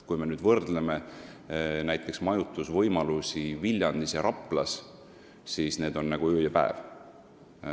Kui me nüüd võrdleme majutusvõimalusi Viljandis ja Raplas, siis need on nagu öö ja päev.